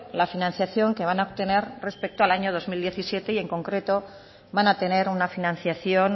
la financiación que van a obtener respeto al año dos mil diecisiete y en concreto van a tener una financiación